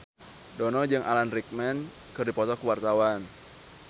Dono jeung Alan Rickman keur dipoto ku wartawan